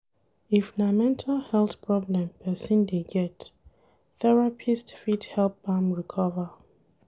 If na mental health problem person dey get, therapist fit help am recover